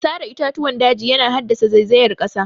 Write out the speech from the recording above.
Sare itatuwan daji yana haddasa zaizayar ƙasa